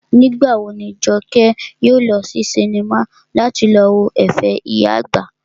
Nígbà wo ni Jọkẹ́ yóò lọ sí sinimá láti lọ wo ẹ̀fẹ̀ ìyá àgbà?